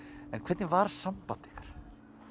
en hvernig var samband ykkar